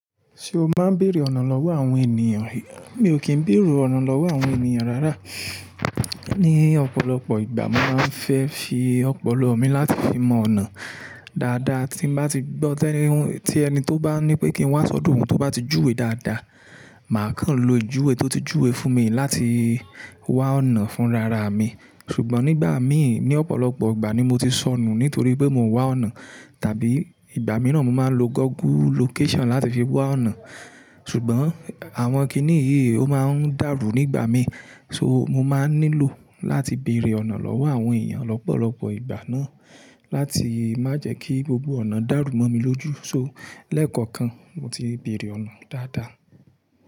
Ṣé o máa ń bèrè ọ̀nà lọ́wọ́ àwọn ènìyàn? Mi ò kí ń bèrù ọ̀nà lọ́wọ́ àwọn ènìyàn rárá. Ni ọ̀pọ̀lọpọ̀ ìgbà, mo máa ń fẹ́ fi ọ̀pọ̀lọ́ mi láti fi mọ ọ̀nà dáadáa. Tí n bá ti gbọ́ tẹni, tí ẹni tó bá ní pé kí n wá sọ́dọ̀ òun tó bá ti júwe dáadáa, màá kàn lo ìjuwe tó ti júwe fún mi láti wá ọ̀nà fún rara mi. Ṣùgbọ́n nígbà mi ní ọ̀pọ̀lọpọ̀ ìgbà ni mo ti sọnù nítorí pé mò ń wá ọ̀nà. Tàbí ìgbà mìíràn, mo máa ń lo Google location láti fi wá ọ̀nà. Ṣùgbọ́n àwọn kìní yìí ó máa ń dàrú nígbà mí. So mo máa nílò láti bèrè ọ̀nà lọ́wọ́ àwọn èèyàn lọ́pọ̀lọpọ̀ ìgbà náà láti má jẹ́ kí gbogbo ọ̀nà dàrú mọ́ mi lójú. So lẹ́ẹ̀kọ̀kan, mo ti bèrè ọ̀nà dáadáa.